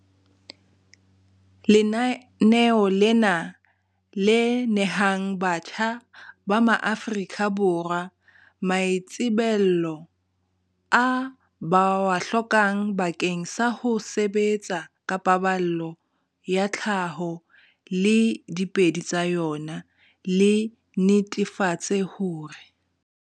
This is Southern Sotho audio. Lenaneo lena, le nehang batjha ba maAforika Borwa maitsebelo a ba a hlokang bakeng sa ho sebetsa ka paballo ya tlhaho le diphedi tsa yona, le netefatse hore.